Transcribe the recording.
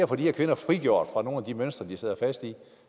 få de her kvinder frigjort fra nogle af de mønstre de sidder fast i